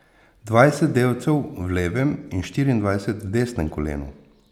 Dvajset delcev v levem in štiriindvajset v desnem kolenu.